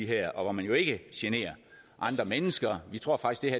her og hvor man jo ikke generer andre mennesker vi tror faktisk